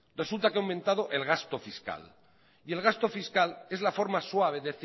resulta que ha aumentado el gasto fiscal y el gasto fiscal es la forma suave